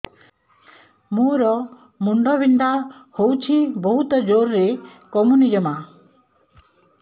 ମୋର ମୁଣ୍ଡ ବିନ୍ଧା ହଉଛି ବହୁତ ଜୋରରେ କମୁନି ଜମା